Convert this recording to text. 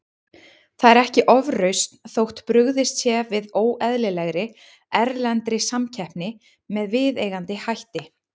Það er ekki ofrausn þótt brugðist sé við óeðlilegri, erlendri samkeppni með viðeigandi hætti.